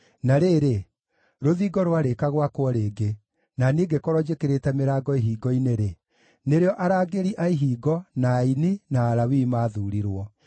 Na rĩrĩ, rũthingo rwarĩka gwakwo rĩngĩ, na niĩ ngĩkorwo njĩkĩrĩte mĩrango ihingo-inĩ-rĩ, nĩrĩo arangĩri a ihingo, na aini, na Alawii maathuurirwo.